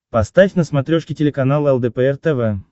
поставь на смотрешке телеканал лдпр тв